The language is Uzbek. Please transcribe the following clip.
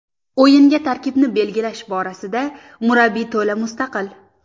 O‘yinga tarkibni belgilash borasida murabbiy to‘la mustaqil.